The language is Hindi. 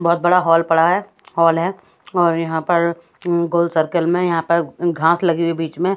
बहत बड़ा हल पड़ा है हल है और यहाँ पर गोल सर्कल में यहाँ पर घास लगी हुई हे बीच में--